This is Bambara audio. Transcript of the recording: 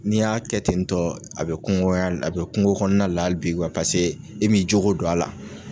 N'i y'a kɛ ten tɔ a bɛ kungokɔnɔya a bɛ kungo kɔnɔna la hali bi paseke e m'i jo don a la.